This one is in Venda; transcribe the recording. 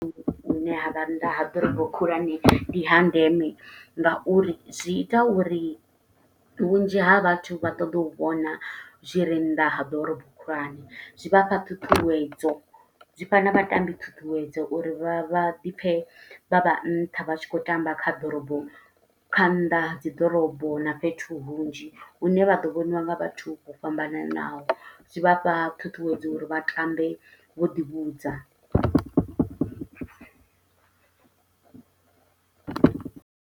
Fhethu hune ha vha nnḓa ha ḓorobo khulwane ndi ha ndeme, nga uri zwi ita uri vhunzhi ha vhathu vha ṱoḓe u vhona zwire nnḓa ha ḓorobo khulwane. Zwi vha fha ṱhuṱhuwedzo, zwi fha na vhatambi ṱhuṱhuwedzo uri vha vha ḓi pfe vha vha nṱha vha tshi khou tamba kha ḓorobo, kha nnḓa ha dzi ḓorobo na fhethu hunzhi. Hune vha ḓo vhoniwa nga vhathu vho fhambananaho, zwi vhafha ṱhuṱhuwedzo uri vha tambe vho ḓi vhudza.